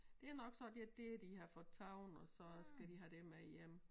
Det nok så det dét de har fået taget og så skal de have det med hjem